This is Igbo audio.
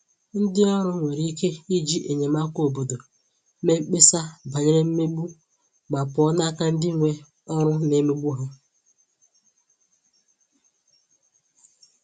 Ndị ọrụ nwere ike iji enyemaka obodo mee mkpesa banyere mmegbu ma pụọ n'aka ndị nwe ọrụ na-emegbu ha.